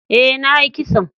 E,na yi kison.